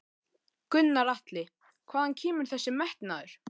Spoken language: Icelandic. Gunnar Atli: Hvaðan kemur þessi metnaður?